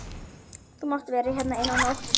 Þú mátt vera hér eina nótt.